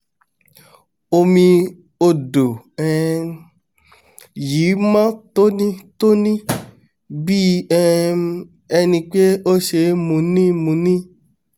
omi odò um yìí mọ́n tóní-tóní bí um enipé ó ṣeé mu ni mu ni